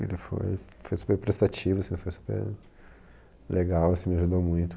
Ele foi foi super prestativo, super legal, assim me ajudou muito.